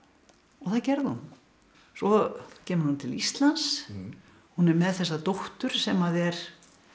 og það gerði hún svo kemur hún til Íslands hún er með þessa dóttur sem er